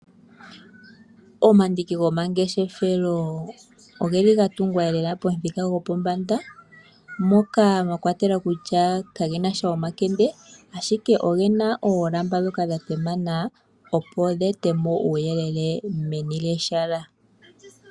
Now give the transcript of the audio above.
Omandiki gomangeshefelo ogeli lela ga tugwa pomuthika gwopombanda moka mwakwatelwa kutya kage nasha omakende ashike ogena oolamba dhoka dha tema nawa opo dhi etemo uuyelele meni lyehala.